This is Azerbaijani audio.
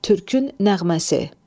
Türkün nəğməsi.